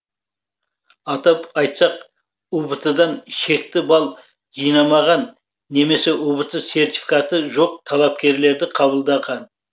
атап айтсақ ұбт дан шекті балл жинамаған немесе ұбт сертификаты жоқ талапкерлерді қабылдаған